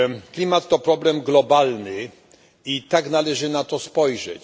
Klimat to problem globalny i tak należy na to spojrzeć.